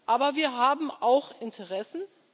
Aber wir haben auch Interessen.